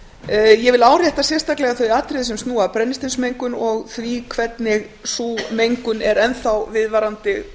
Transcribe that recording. ég vil árétta sérstaklega þau atriði sem snúa að brennisteinsmengun og því hvernig sú mengun er enn þá viðvarandi